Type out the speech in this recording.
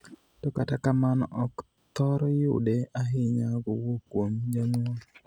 To kata kamano ok thor yude ahinya kowuok kuom janyuol.